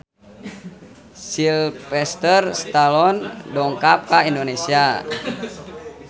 Sylvester Stallone dongkap ka Indonesia